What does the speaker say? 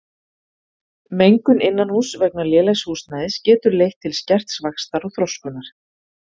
Mengun innanhúss vegna lélegs húsnæðis getur leitt til skerts vaxtar og þroskunar.